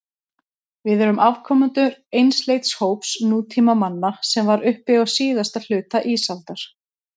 Við erum afkomendur einsleits hóps nútímamanna sem var uppi á síðasta hluta ísaldar.